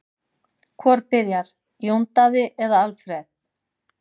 Hvor byrjar, Jón Daði eða Alfreð?